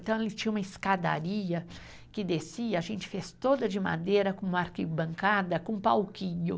Então, ele tinha uma escadaria que descia, a gente fez toda de madeira, com uma arquibancada, com um palquinho.